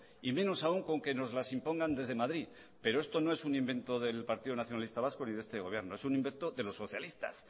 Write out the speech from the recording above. y menos aún con que nos las impongan desde madrid pero esto no es un invento del partido nacionalista vasco ni de este gobierno es un invento de los socialistas